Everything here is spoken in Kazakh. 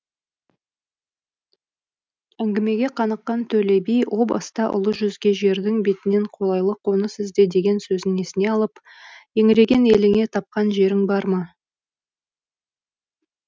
әңгімеге қаныққан төле би о баста ұлы жүзге жердің бетінен қолайлы қоныс ізде деген сөзін есіне алып еңіреген еліңе тапқан жерің бар ма